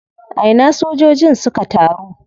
A ina sojojin suka taru?